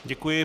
Děkuji.